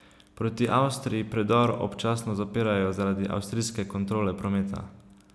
Proti Avstriji predor občasno zapirajo zaradi avstrijske kontrole prometa.